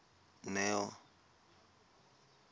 neo